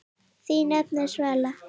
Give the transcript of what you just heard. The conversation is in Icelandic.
Þín nafna, Svala.